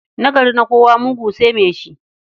Nagari na kowa, mugu sai mai shi.